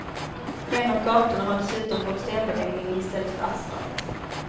En av gatorna har dessutom fått stenbeläggning i stället för asfalt.